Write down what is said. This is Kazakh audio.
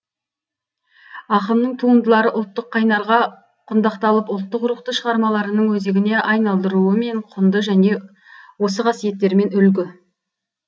ақынның туындылары ұлттық қайнарға құндақталып ұлттық рухты шығармаларының өзегіне айналдыруымен құнды және осы қасиеттерімен үлгі